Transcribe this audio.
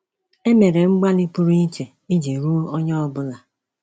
E mere mgbalị pụrụ iche iji ruo onye ọbụla.